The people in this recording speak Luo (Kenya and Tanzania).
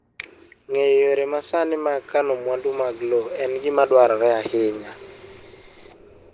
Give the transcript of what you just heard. Ng'eyo yore masani mag kano mwandu mag lowo en gima dwarore ahinya.